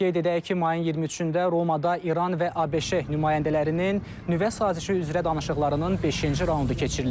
Qeyd edək ki, mayın 23-də Romada İran və ABŞ nümayəndələrinin nüvə sazişi üzrə danışıqlarının beşinci raundu keçirilib.